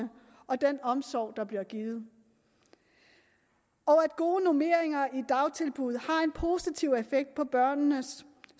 og den omsorg der bliver givet og at gode normeringer i dagtilbud har en positiv effekt på børnenes